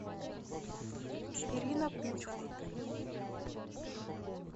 ирина кучма